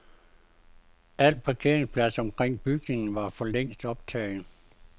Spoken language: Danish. Al parkeringsplads omkring bygningerne var for længst optaget.